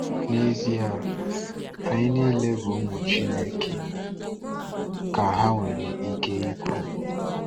N’ezie, anyị niile bụ ụmụ Chineke,” ka ha nwere ike ikwu.